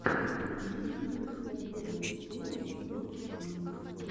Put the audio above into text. имеется ли у тебя первая серия воч он